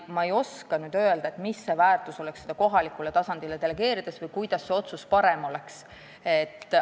Ma ei oska öelda, mis oleks väärtus, kui see kohalikule tasandile delegeerida, või kuidas saaks parema otsuse.